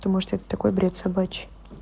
потому что это такой бред собачий